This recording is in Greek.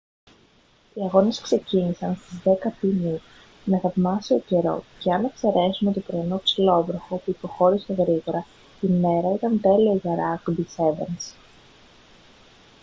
οι αγώνες ξεκίνησαν στις 10:00 π.μ. με θαυμάσιο καιρό και αν εξαιρέσουμε το πρωινό ψιλόβροχο που υποχώρησε γρήγορα η μέρα ήταν τέλεια για ράγκμπι σέβενς